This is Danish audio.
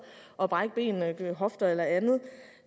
og brække ben hofter eller andet